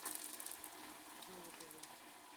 золотове